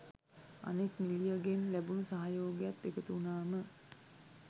අනෙක් නිළියගෙන් ලැබුණු සහයෝගයත් එකතු වුණාම